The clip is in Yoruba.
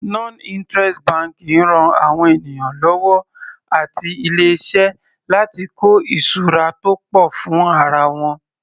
Non interest banking ran àwọn ènìyàn lọ́wọ́ àti ilé iṣẹ́ láti kọ́ ìṣura tó pọ̀ fún ara wọn.